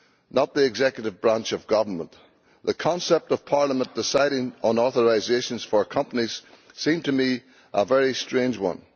not the executive branch of government. The concept of Parliament deciding on authorisations for companies seems to me a very strange one.